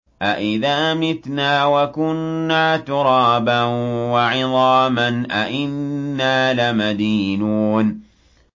أَإِذَا مِتْنَا وَكُنَّا تُرَابًا وَعِظَامًا أَإِنَّا لَمَدِينُونَ